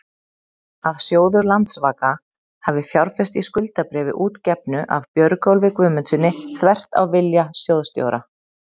að sjóður Landsvaka hafi fjárfest í skuldabréfi útgefnu af Björgólfi Guðmundssyni, þvert á vilja sjóðsstjóra?